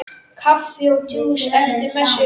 Kaffi og djús eftir messu.